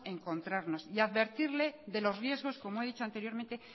encontrarnos y advertirle de los riesgos como he dicho anteriormente